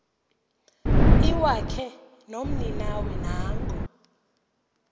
iwakhe nomninawe nanko